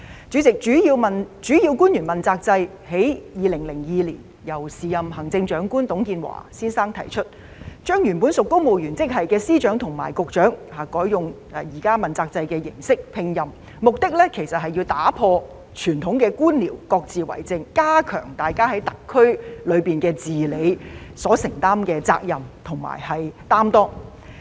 主席，主要官員問責制在2002年由時任行政長官董建華先生提出，將原本屬公務員職系的司長和局長改以現時問責制的形式聘任，目的其實是要打破各自為政的傳統官僚作風，加強大家在特區政府中的治理能力、讓他們更能承擔責任，更有擔當。